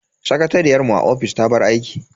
Sakatariyar mu a ofis ta bar aiki.